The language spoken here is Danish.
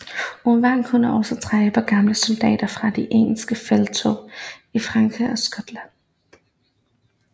Owain kunne også trække på gamle soldater fra de engelske felttog i Frankrig og Skotland